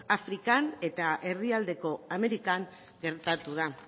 afrikan eta erdialdeko amerikan gertatu da